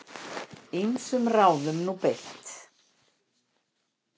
Ýmsum ráðum sé beitt.